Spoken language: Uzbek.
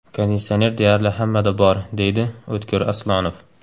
Konditsioner deyarli hammada bor”, deydi O‘tkir Aslonov.